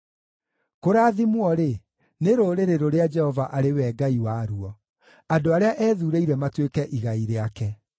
Kũrathimwo-rĩ, nĩ rũrĩrĩ rũrĩa Jehova arĩ we Ngai waruo, andũ arĩa eethuurĩire matuĩke igai rĩake.